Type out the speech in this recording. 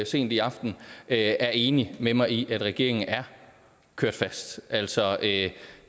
sent i aften er enig med mig i det er at regeringen er kørt fast altså det